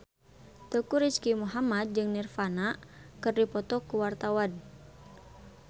Teuku Rizky Muhammad jeung Nirvana keur dipoto ku wartawan